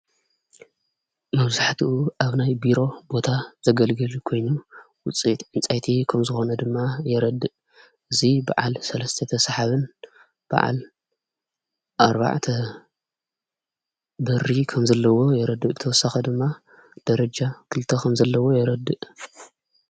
መብዙሕቲኡ ኣብ ናይ ቢሮ ቦታ ዘገልግል ይኮይኑ ውፅት ዕንጻይቲ ከም ዝኾነ ድማ የረድእ እዙይ ብዓል ሠለስተተ ሰሓብን በዓል ኣርባዕቲ በሪ ከም ዘለዎ የረድ ክተወሳኸ ድማ ደረጃ ክልተ ኸም ዘለዎ የረድእ።